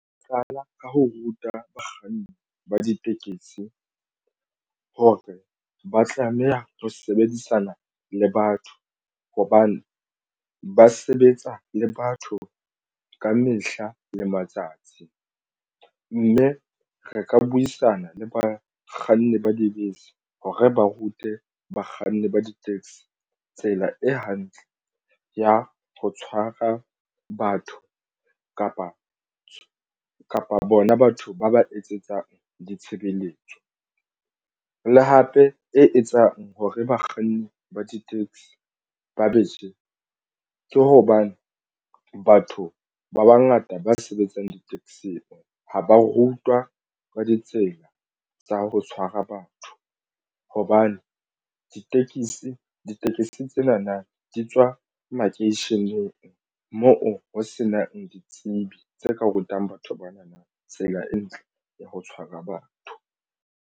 Nka qala ka ho ruta bakganni ba ditekesi ho re ba tlameha ho sebedisana le batho hobane ba sebetsa le batho ka mehla le matsatsi mme re ka buisana le bakganni ba dibese ho re ba rute bakganni ba di-taxi. Tsela e hantle ya ho tshwara batho kapa kapa bona batho ba ba etsetsang ditshebeletso le hape e etsang hore bakganni ba di-taxi ba je ke hobane batho ba bangata ba sebetsang di-taxi-ng ha ba rutwa ka ditsela tsa ho tshwara batho hobane ditekesi tsena na di tswa makeisheneng moo ho senang ditsebi tse ka rutang batho bana na tsela e ntle ya ho tshwara batho.